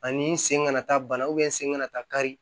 Ani n sen kana taa bana sen kana taa kari